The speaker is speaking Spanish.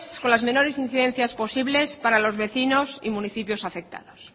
con las menores incidencias posibles para los vecinos y municipios afectados